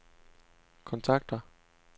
kontakter